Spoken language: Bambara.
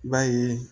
I b'a ye